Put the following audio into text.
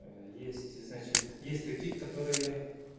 есть ты значит есть такие которые